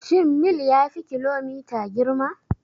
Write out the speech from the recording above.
Shin mil ya fi kilomita girma?